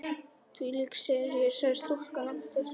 Þvílík sería sagði stúlkan aftur.